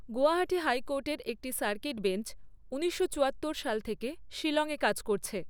গুয়াহাটি হাইকোর্টের একটি circuit bench ঊনিশশো চুয়াত্তর সাল থেকে শিলংয়ে কাজ করছে।